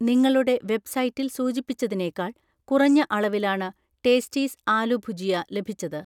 നിങ്ങളുടെ വെബ്‌സൈറ്റിൽ സൂചിപ്പിച്ചതിനേക്കാൾ കുറഞ്ഞ അളവിലാണ് ടേസ്റ്റീസ് ആലു ഭുജിയ ലഭിച്ചത്